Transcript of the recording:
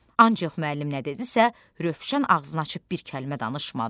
Ancaq müəllim nə dedisə, Rövşən ağzını açıb bir kəlmə danışmadı.